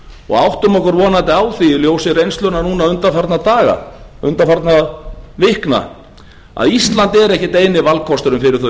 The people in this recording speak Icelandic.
og áttum okkur vonandi á því í ljósi reynslunnar núna undanfarinna daga undafarinna vikna að ísland er ekkert eini valkosturinn fyrir